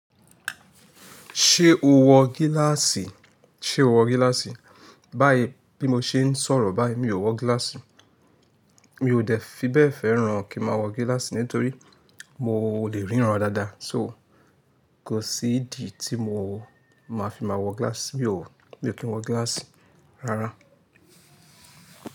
Ṣé o wọ gíláàsì? Ṣé o wọ gíláàsì? Báyìí bí mo ṣe ń sọ̀rọ̀ báyìí mi ò wọ gíláàsì. Mi ò dẹ́ fi bẹ́ẹ̀ fẹ́ràn kí má wọ gíláàsì nítorí mo lè ríran dáadáa. So kò sí ìdí tí mo máa fi máa wọ gíláàsì, mi ò kí ń wọ gíláàsì rárá.